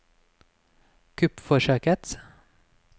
kuppforsøket